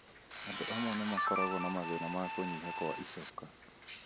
Andũ amwe nĩ makoragwo na mathĩna ma kũnyiha kwa ĩcoka.